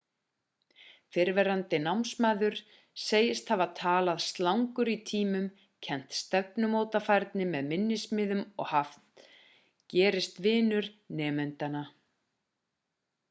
fyrrverandi námsmaður segist hafa talað slangur í tímum kennt stefnumótafærni með minnismiðum og hafi gerst vinur nemendanna